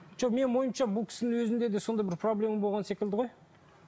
жоқ менің ойымша бұл кісінің өзінде де сондай бір проблема болған секілді ғой